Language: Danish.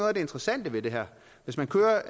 af det interessante ved det her hvis man kører